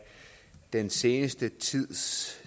den seneste tids